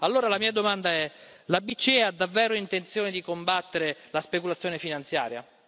Allora la mia domanda è la BCE ha davvero intenzione di combattere la speculazione finanziaria?